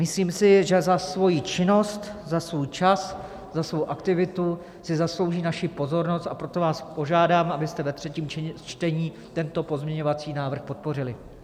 Myslím si, že za svoji činnost, za svůj čas, za svou aktivitu si zaslouží naši pozornost, a proto vás požádám, abyste ve třetím čtení tento pozměňovací návrh podpořili.